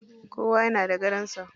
Kowa yana da gadon sa.